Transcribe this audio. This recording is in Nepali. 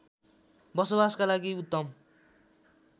बसोबासका लागि उत्तम